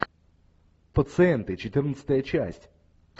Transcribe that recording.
пациенты четырнадцатая часть